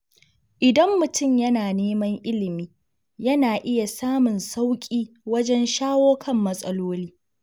Idan mutum yana neman ilimi, yana iya samun sauƙi wajen shawo kan matsaloli.